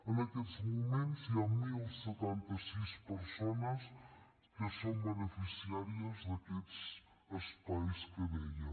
en aquests moments hi han deu setanta sis persones que són beneficiàries d’aquests espais que deia